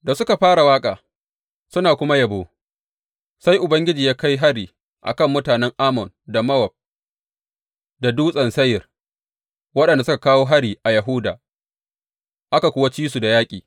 Da suka fara waƙa, suna kuma yabo, sai Ubangiji ya kai hari a kan mutanen Ammon da Mowab da Dutsen Seyir, waɗanda suka kawo hari a Yahuda, aka kuwa ci su da yaƙi.